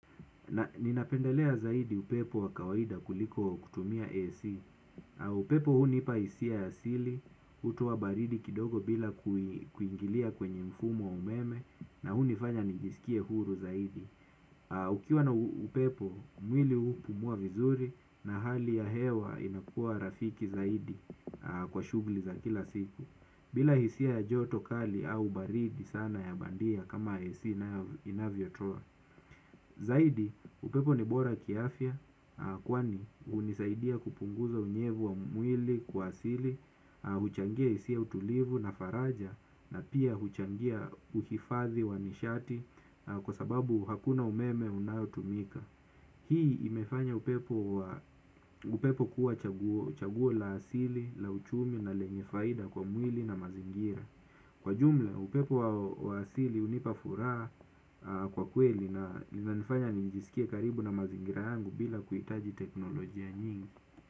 Ninapendelea zaidi upepo wa kawaida kuliko kutumia AC. Upepo hunipa hisia ya asili hutoa baridi kidogo bila kuingilia kwenye mfumo wa umeme na hunifanya nijisikie huru zaidi. Ukiwa na upepo mwili hupumua vizuri na hali ya hewa inakuwa rafiki zaidi kwa shugli za kila siku. Bila hisia ya joto kali au baridi sana ya bandia kama AC inavyotoa zaidi, upepo ni bora kiafya. Kwani, hunisaidia kupunguza unyevu wa mwili kwa asili huchangia hisia tulivu na faraja na pia huchangia uhifadhi wa nishati na kwa sababu hakuna umeme unaotumika. Hii imefanya upepo kuwa chaguo la asili, la uchumi na lenye faida kwa mwili na mazingira. Kwa jumla upepo wa asili hunipa furaha kwa kweli inanifanya nijisikie karibu na mazingira yangu bila kuhitaji teknolojia nyingi.